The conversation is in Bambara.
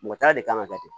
Mɔgɔ ta de kan ka kɛ ten